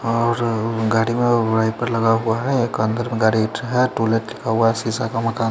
और गाड़ी में वाइपर लगा हुआ है एक अंदर गाड़ी रखा है टू लेट लिखा हुआ है शीशा का मकान है।